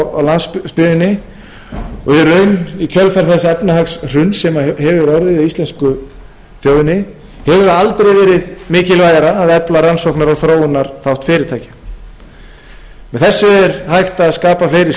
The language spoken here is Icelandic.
landsbyggðinni og í raun í kjölfar þess efnahagshruns sem hefur orðið á íslensku þjóðinni hefur aldrei verið mikilvægara að efla rannsókna og þróunarþátt fyrirtækja með þessu er hægt að skapa fleiri stoðir